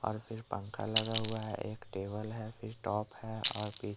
और फिर पंखा लगा हुआ है एक टेबल है फिर टब है और फिर --